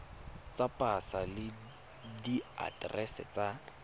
tsa pasa le diaterese tsa